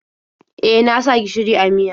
E, na sa gishiri a miyar.